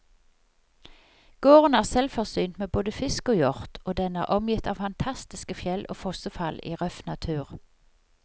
Gården er selvforsynt med både fisk og hjort, og den er omgitt av fantastiske fjell og fossefall i røff natur.